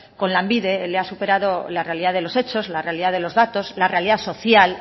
con lanbide le ha superado la realidad de los hechos la realidad de los datos la realidad social